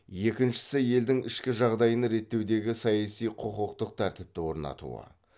екіншісі елдің ішкі жағдайын реттеудегі саяси құқықтық тәртіпті орнатуы